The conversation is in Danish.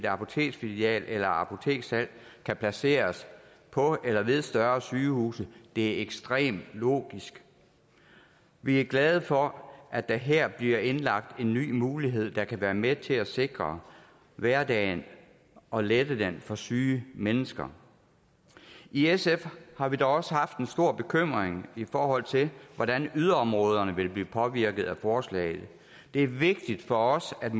apoteksfilial eller et apoteksudsalg kan placeres på eller ved større sygehuse det er ekstremt logisk vi er glade for at der her bliver indlagt en ny mulighed der kan være med til at sikre hverdagen og lette den for syge mennesker i sf har vi dog også haft en stor bekymring i forhold til hvordan yderområderne vil blive påvirket af forslaget det er vigtigt for os at